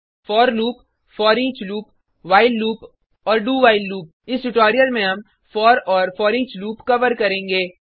four loop foreach loop while loop और do while loop इस tutorial में हम फोर और फोरिच लूप कवर करेंगे